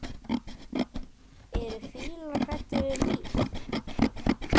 Eru fílar hræddir við mýs?